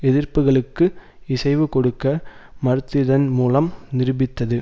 எதிர்ப்புக்களுக்கு இசைவு கொடுக்க மறுத்திதன் மூலம் நிரூபித்தது